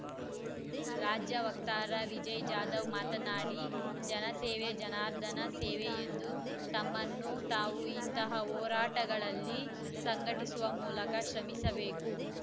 ರಾಜ್ಯ ವಕ್ತಾರ ವಿಜಯಜಾಧವ್‌ ಮಾತನಾಡಿ ಜನಸೇವೆ ಜನಾರ್ಧನನ ಸೇವೆ ಎಂದು ತಮ್ಮನ್ನು ತಾವು ಇಂತಹ ಹೋರಾಟಗಳಲ್ಲಿ ಸಂಘಟಿಸುವ ಮೂಲಕ ಶ್ರಮಿಸಬೇಕು